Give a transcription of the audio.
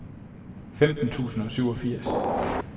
femten tusind og syvogfirs